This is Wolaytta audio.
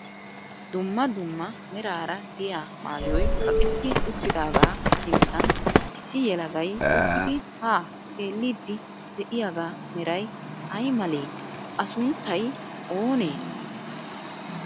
Dumma dumma meraara diyaa maayoy kaqetti uttidaagaa sinttan issi yelagay uttidi haa xeelliiddi de'iyaagaa meray ay malee? A sunttay oonee?